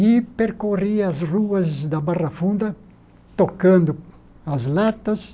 E percorri as ruas da Barra Funda tocando as latas,